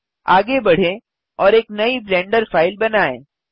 अब आगे बढ़ें और एक नयी ब्लेंडर फ़ाइल बनाएँ